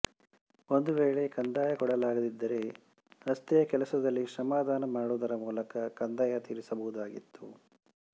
ಒಂದು ವೇಳೆ ಕಂದಾಯ ಕೊಡಲಾಗದಿದ್ದರೆ ರಸ್ತೆಯ ಕೆಲಸದಲ್ಲಿ ಶ್ರಮದಾನ ಮಾಡುವುದರ ಮೂಲಕ ಕಂದಾಯ ತೀರಿಸಬಹುದಾಗಿತ್ತು